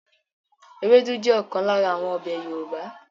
Ewédú jẹ́ ọ̀kan lára àwọn ọbẹ̀ Yorùbá